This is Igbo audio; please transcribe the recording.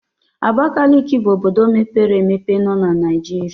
Abakaliki bụ obodo mepere emepe nọ na Naijiria.